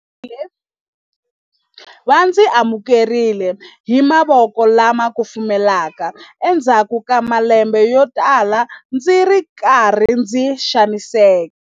Va ndzi amukerile hi mavoko lama kufumelaka endzhaku ka malembe yotala ndzi ri karhi ndzi xaniseka.